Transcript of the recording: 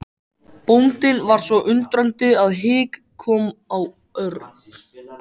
Bóndinn var svo undrandi að hik kom á Örn.